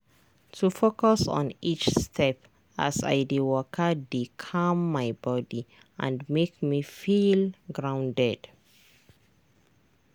to focus on each step as i dey waka dey calm my body and make me feel grounded.